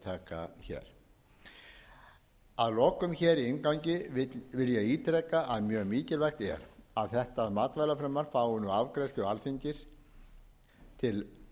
að endurtaka hér að lokum hér í inngangi vil ég ítreka að mjög mikilvægt er að þetta matvælafrumvarp fái nú afgreiðslu á alþingi til